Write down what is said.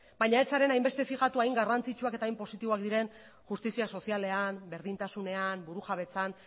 baina ez zaren hainbeste fijatu hain garrantzitsuak eta hain positiboak diren justizia sozialean berdintasunean burujabetzan